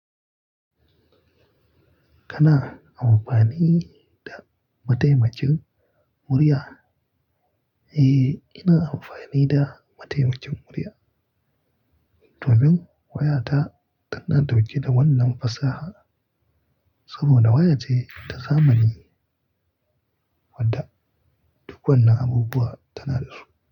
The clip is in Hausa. Kana amfani da mataimakin murya? Eh, ina amfani da mataimakin murya. Tobin wayata tana dauke da wannan fasaha saboda wayace ta zamani wadda duk wanan abubuwa tana da su.